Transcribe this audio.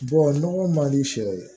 nɔgɔ man di sɛ ye